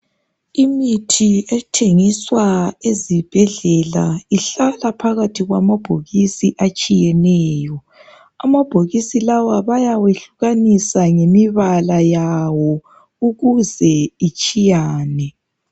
Imithi ethengiswa ezibhedlela ihlala phakathi kwamabhokisi atshiyeneyo Amabhokisi lawa bayawehlukanisa ngemibala yawo ukuze itshiyane